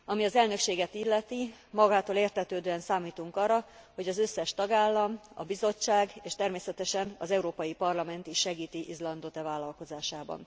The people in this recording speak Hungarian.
Ami az elnökséget illeti, magától értetődően számítunk arra, hogy az összes tagállam, a Bizottság és természetesen az Európai Parlament is segíti Izlandot e vállalkozásában.